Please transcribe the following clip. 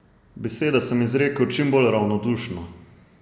Besede sem izrekel čim bolj ravnodušno.